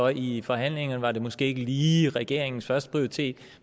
i forhandlingerne måske ikke lige var regeringens førsteprioritet